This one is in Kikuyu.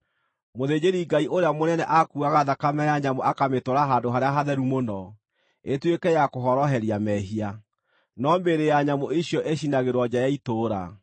Mũthĩnjĩri-Ngai ũrĩa mũnene akuuaga thakame ya nyamũ akamĩtwara Handũ-harĩa-Hatheru-Mũno ĩtuĩke ya kũhoroheria mehia, no mĩĩrĩ ya nyamũ icio ĩcinagĩrwo nja ya itũũra.